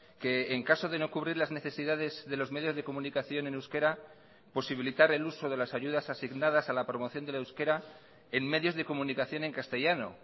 que en caso de no cubrir las necesidades de los medios de comunicación en euskera posibilitar el uso de las ayudas asignadas a la promoción del euskera en medios de comunicación en castellano